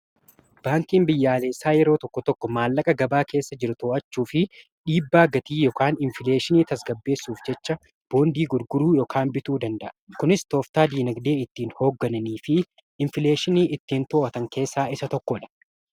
baankiin biyyooleessaa yeroo tokko tokko maallaqa gabaa keessa jiruu to'aachuu fi dhiibbaa gatii yookiin infileekshinii tasgaabbeessuuf jechaa boondii gurguruu yookiin bituu danda'a kuniis tooftaa diinaagdee ittiin hooggananii fi infileekshinii ittiin to'otan keessaa isa tokko dha